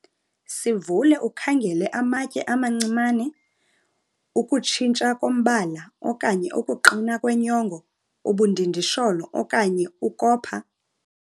Sivule ukhangele amatye amancimane, ukutshintsha kombala okanye ukuqina kwenyongo, ubundindisholo, okanye ukopha.